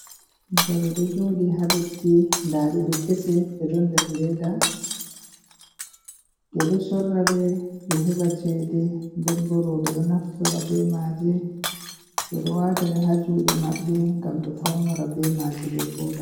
Jawe ɗo jooɗi ha leɗɗi nɗa ɗeɗo kese ɗe ɗon nder leɗɗa be ɗo sorraɗe be heba ceɗe. Nden bo robe ɗo naftira be maje, be ɗo wataɗe ha juɗe mabbe ngam be faunura be maje be vooɗa.